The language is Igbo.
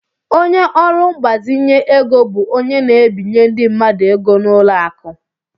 Ọnye orụ mgbazinye égo bụ ónyé na- ebinye ndị mmadụ ego n' ụlọ akụ.